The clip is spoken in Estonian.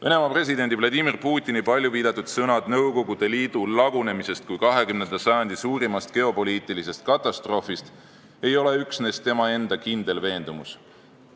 Venemaa presidendi Vladimir Putini palju viidatud sõnad, et Nõukogude Liidu lagunemine oli 20. sajandi suurim geopoliitiline katastroof, ei ole üksnes tema enda kindel veendumus.